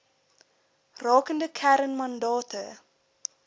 rakende kern mandate